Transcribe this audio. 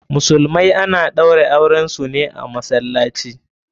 Musulmai ana ɗaura auren su ne a masallaci.